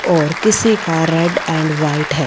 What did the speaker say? और किसी का रेड एंड व्हाइट है।